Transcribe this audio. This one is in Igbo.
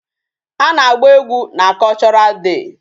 A na-agba egwu na Cultural day.